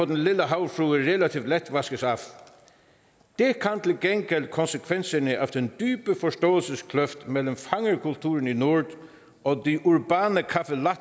den lille havfrue relativt let vaskes af det kan konsekvenserne af den dybe forståelseskløft mellem fangerkulturen i nord og